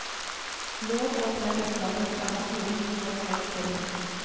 Lovovertredelser kan straffes med inntil to års fengsel.